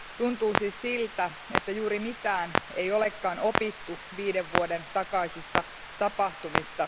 Tuntuu siis siltä, että juuri mitään ei ole opittu viiden vuoden takaisista tapahtumista.